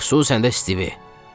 Xüsusən də Stivi.